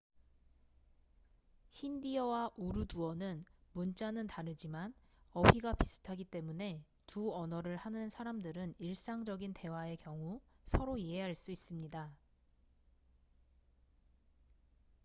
힌디어와 우르두어는 문자는 다르지만 어휘가 비슷하기 때문에 두 언어를 하는 사람들은 일상적인 대화의 경우 서로 이해할 수 있습니다